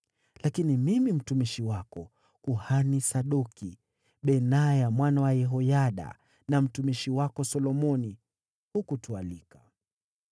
Lakini mimi mtumishi wako, kuhani Sadoki, Benaya mwana wa Yehoyada na mtumishi wako Solomoni hakutualika.